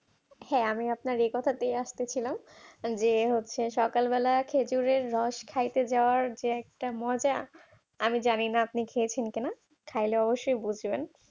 হ্যাঁ আমিও আপনার ে এ কথাটাই আসছিলাম যে হচ্ছে সকালবেলা খেজুরের রস খাইতে যাওয়ার যে একটা মজা আমি জানিনা আপনি খেয়েছেন কিনা খেলে অবশ্যই বুঝবেন